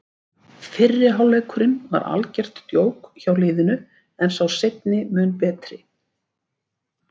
Fyrri hálfleikurinn var algert djók hjá liðinu en sá seinni mun betri.